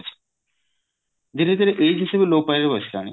ଧୀରେ ଧୀରେ ଏଇଠି ସବୁ ଲୋପ ପାଇବାକୁ ବସିଲାଣି